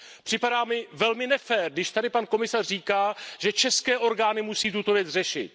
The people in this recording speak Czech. Připadá mi velmi nefér, když tady pan komisař říká, že české orgány musí tuto věc řešit.